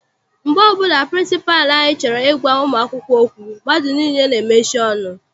Mgbe ọbụla pịrịnsịpalụ anyị chọrọ I gwa ụmụ akwụkwọ okwu, mmadụ niile n'emechi ọnụ.